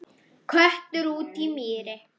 Köttur úti í mýri